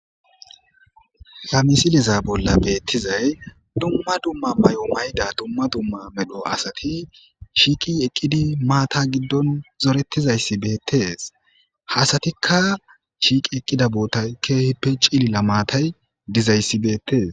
Gamisiliza bolla beettizay dumma dumma may7o mayda dumma dumma medho asati shiiqi eqqidi maata giddon zorettizayssi beettees hasatikka shiiqi eqqida boota keehippe ciilila maatay dizayssi beettees.